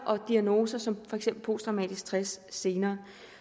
og diagnoser som for eksempel posttraumatisk stress senere